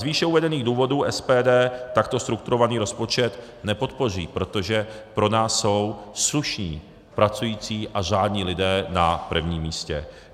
Z výše uvedených důvodů SPD takto strukturovaný rozpočet nepodpoří, protože pro nás jsou slušní pracující a řádní lidé na prvním místě.